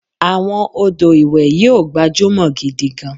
Àwọn ọdọ iwe yio gbajumọ gidi gan